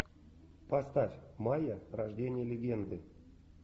поставь майя рождение легенды